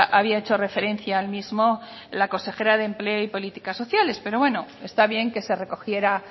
había hecho referencia al mismo la consejera de empleo y políticas sociales pero bueno está bien que se recogiera